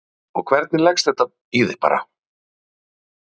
Helga María: Og hvernig leggst þetta í þig bara?